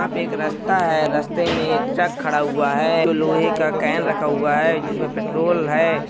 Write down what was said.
यहाँ पे एक रास्ता है रास्ते मे एक ट्रक खाडा हुआ है लोहे का कैन रखा हुआ जिसमे पेट्रोल है।